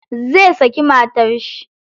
Zai saki matar shi.